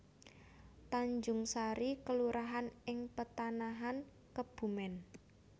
Tanjungsari kelurahan ing Petanahan Kebumèn